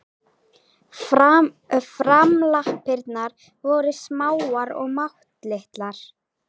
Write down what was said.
Framlappirnar voru smáar og máttlitlar.